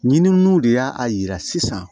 Ɲininiw de y'a yira sisan